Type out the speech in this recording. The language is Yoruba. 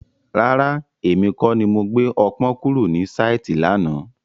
Rárá, èmi kọ́ ni mo gbé ọpọ́n kúrò ní sáìtì lánàá.